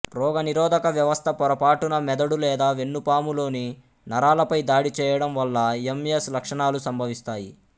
రోగనిరోధక వ్యవస్థ పొరపాటున మెదడు లేదా వెన్నుపాములోని నరాలపై దాడి చేయడం వల్ల ఎంఎస్ లక్షణాలు సంభవిస్తాయి